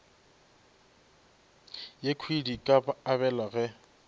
yekhwi di ka abelwa ge